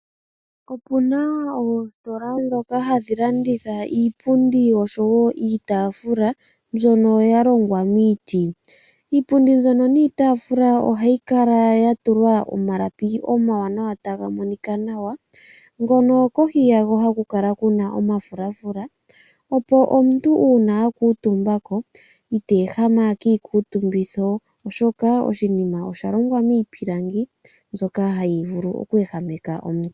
Opu na oositola ndhoka hadhi landitha iipundi noshowo iitafula mbyono ya longwa miiti. Iipundi mbyono niitaafula ohayi kala ya tulwa omalapi omawanawa, taga monika nawa, ngono kohi yago haku kala ku na omafulafula, opo omuntu uuna a kuutumba ite ehama kiikuutumbitho oshoka oshipundi osha longwa miipilangi mbyoka hayi vulu oku ehameka omuntu.